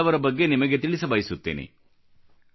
ಇಂಥ ಕೆಲವರ ಬಗ್ಗೆ ನಿಮಗೆ ತಿಳಿಸಬಯಸುತ್ತೇನೆ